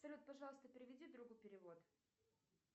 салют пожалуйста переведи другу перевод